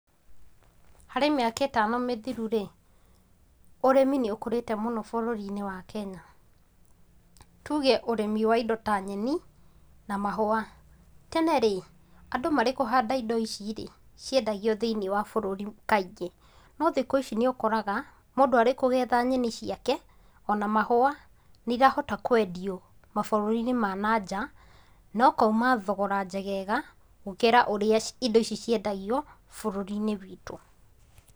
Harĩ mĩaka ĩtano mĩthiru rĩ, ũrĩmi nĩ ũkũrĩte mũno bũrũri-inĩ wa Kenya, tuuge ũrĩmi wa indo ta nyeni na mahũa. Tene rĩ, andũ marĩ kũhanda indo ici rĩ, ciendagio thĩinĩ wa bũrũri kaingĩ, no thikũ ici nĩ ũkoraga mũndũ arĩ kũgetha nyeni ciake ona mahũa, nĩ irahota kwendio mabũrũri-inĩ ma nanja na ũkauma thogora njegega gũkĩra ũrĩa indo ici ciendagio bũrũri-inĩ witũ.